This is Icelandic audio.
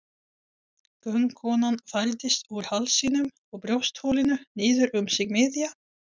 Göngukonan færðist úr hálsinum og brjóstholinu niður um sig miðja.